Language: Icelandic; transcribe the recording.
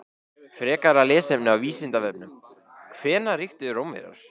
Frekara lesefni á Vísindavefnum: Hvenær ríktu Rómverjar?